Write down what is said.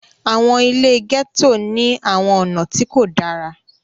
àwọn ile gẹto ni àwọn ọna ti ko dara.